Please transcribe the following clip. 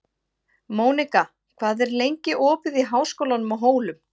Mónika, hvað er lengi opið í Háskólanum á Hólum?